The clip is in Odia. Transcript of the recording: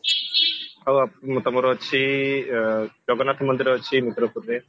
ଆଉ ତମର ଅଛି ଜଗନ୍ନାଥ ମନ୍ଦିର ଅଛି ରୁଦ୍ରପୁରରେ